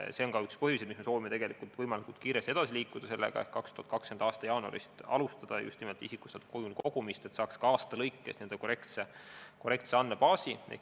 See on ka üks põhjusi, miks me soovime sellega võimalikult kiiresti edasi liikuda, et 2020. aasta jaanuarist alustada just nimelt isikustatud kujul andmete kogumist, et saaks ka aastate kaupa korrektse andmebaasi.